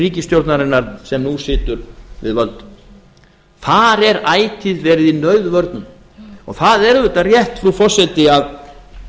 ríkisstjórnarinnar sem nú situr við völd þar er ætíð verið í nauðvörnum og það er auðvitað rétt frú forseti að